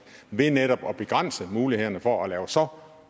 ved netop at begrænse mulighederne for at lave så